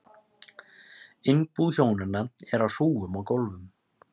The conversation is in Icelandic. Innbú hjónanna er í hrúgum á gólfum.